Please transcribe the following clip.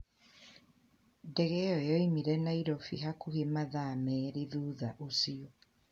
Ndege iyo yaumire Nairofi hakuhĩ mathaa merĩ thutha ũcio